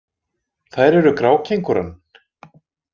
Þær eru grákengúran.